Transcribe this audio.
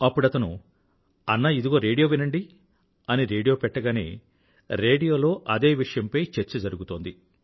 అప్పుడతను అన్నాఇదిగో రేడియో వినండి అని రేడియో పెట్టగానే రేడియోలో అదే విషయంపై చర్చ జరిగుతోంది